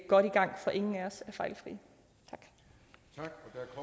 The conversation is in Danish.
godt i gang for ingen af os er fejlfrie tak